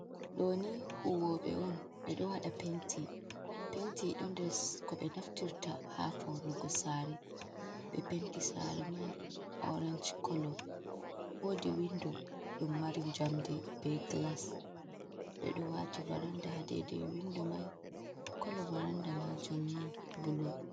Ɗo ni huwoɓe on ɓe ɗo waɗa penti. Penti ɗo nder ko ɓe naftirta ha faunugo sare ɓe penti sare mai orenj kolo. Wodi windo ɗum mari jamdi be glas ɓe ɗo wati varanda ha dede windo mai kolo varanda majumni bulu.